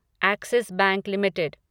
Axis Bank limited